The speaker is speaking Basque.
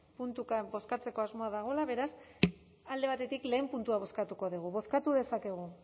puntuka bozkatzeko asmoa dagoela beraz alde batetik lehen puntua bozkatuko dugu bozkatu dezakegu